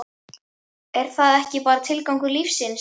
er það ekki bara tilgangur lífsins?